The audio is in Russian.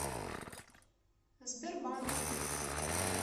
сбербанк